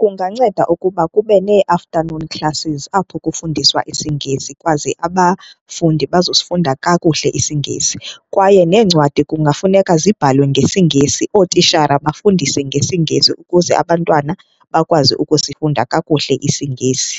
Kunganceda ukuba kube nee-afternoon classes apho kufundiswa isiNgesi ikwaze abafundi bazosifunda kakuhle isiNgesi. Kwaye neencwadi kungafuneka zibhaliwe ngesiNgesi, ootishara bafundise ngesiNgesi ukuze abantwana bakwazi ukusifunda kakuhle isiNgesi.